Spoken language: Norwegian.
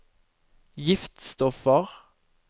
giftstoffer